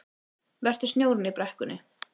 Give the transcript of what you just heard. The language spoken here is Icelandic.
Vertu snjórinn í brekkunni